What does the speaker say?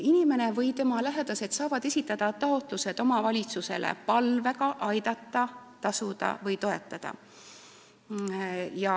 Abivajaja ja tema lähedased saavad esitada omavalitsusele taotluse palvega toetada.